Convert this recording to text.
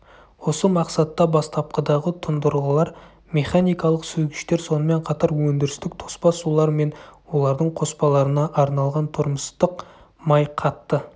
осы мақсатта бастапқыдағы тұндырғылар механикалық сүзгіштер сонымен қатар өндірістік тоспа сулар мен олардың қоспаларына арналған тұрмыстық май қатты